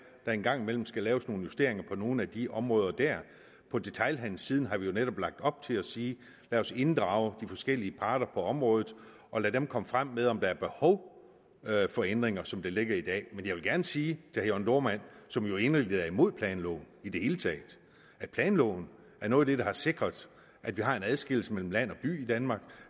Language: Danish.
der en gang imellem skal laves nogle justeringer på nogle af de områder dér på detailhandelsiden har vi jo netop lagt op til at sige lad os inddrage de forskellige parter på området og lad dem komme frem med om der er behov for ændringer som det ligger i dag men jeg vil gerne sige til jørn dohrmann som jo er inderligt imod planloven i det hele taget at planloven er noget af det der har sikret at vi har en adskillelse mellem land og by i danmark